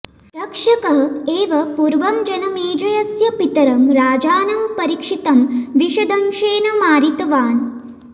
तक्षकः एव पूर्वं जनमेजयस्य पितरं राजानं परीक्षितं विषदंशेन मारितवान्